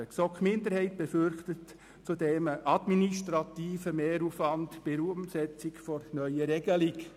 Die GSoK-Minderheit befürchtet zudem einen administrativen Mehraufwand bei der Umsetzung der neuen Regelung.